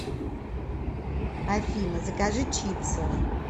афина закажи чипсов